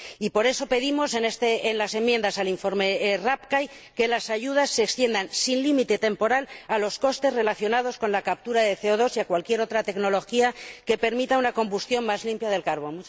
Por eso, pedimos en las enmiendas al informe Rapkay que las ayudas se extiendan sin límite temporal a los costes relacionados con la captura de CO 2 y a cualquier otra tecnología que permita una combustión más limpia del carbón.